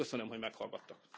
Köszönöm, hogy meghallgattak!